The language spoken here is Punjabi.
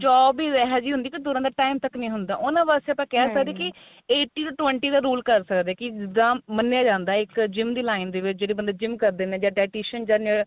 job ਹੀ ਇਹ ਜੀ ਹੁੰਦੀ ਕੀ ਤੁਰਨ ਦਾ time ਤੱਕ ਨੀ ਹੁੰਦਾ ਉਨਾਂ ਵਾਸਤੇ ਆਪਾਂ hm ਕਹਿ ਸਕਦੇ ਆ ਕੀ eighty to twenty ਦਾ rule ਕ਼ਰ ਸਕਦੇ ਕੀ ਜਾ ਮੰਨਿਆ ਜਾਂਦਾ ਇੱਕ gym ਦੀ line ਦੇ ਵਿੱਚ ਜਿਹੜੇ ਬੰਦੇ gym ਕਰਦੇ ਨੇ dietitian